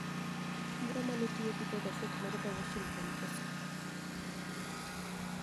Moro ma ne tiyo gi jo gaset mar The Washington Post